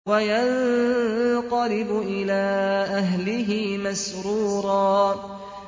وَيَنقَلِبُ إِلَىٰ أَهْلِهِ مَسْرُورًا